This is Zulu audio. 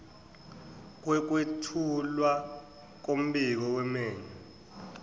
kokwethulwa kombiko wemeya